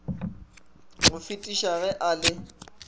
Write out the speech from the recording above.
go fetisa ge a le